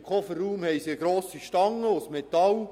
Im Kofferraum befindet sich eine grosse Metallstange.